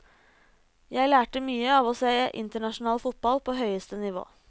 Jeg lærte mye av å se internasjonal fotball på høyeste nivå.